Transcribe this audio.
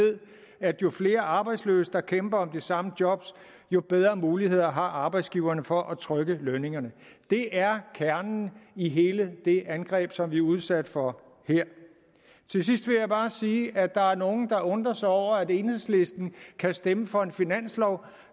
at jo flere arbejdsløse der kæmper om det samme job jo bedre muligheder har arbejdsgiverne for at trykke lønningerne det er kernen i hele det angreb som vi er udsat for her til sidst vil jeg bare sige at der er nogle der undrer sig over at enhedslisten kan stemme for en finanslov